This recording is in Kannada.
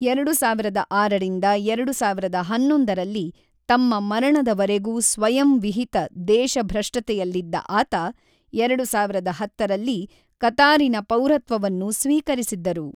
ಎರಡು ಸಾವಿರದ ಆರರಿಂದ ಎರಡು ಸಾವಿರದ ಹನ್ನೊಂದರಲ್ಲಿ ತಮ್ಮ ಮರಣದವರೆಗೂ ಸ್ವಯಂವಿಹಿತ ದೇಶಭ್ರಷ್ಟತೆಯಲ್ಲಿದ್ದ ಆತ, ಎರಡು ಸಾವಿರದ ಹತ್ತರಲ್ಲಿ ಕತಾರಿನ ಪೌರತ್ವವನ್ನು ಸ್ವೀಕರಿಸಿದ್ದರು.